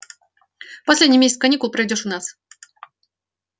последний месяц каникул проведёшь у нас